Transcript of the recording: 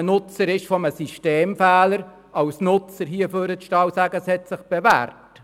Als Nutzer eines Systemfehlers ist es einfach, zu sagen, das System habe sich bewährt.